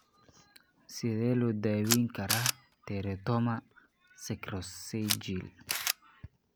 Sidee loo daweyn karaa teratoma sacrococcygeal?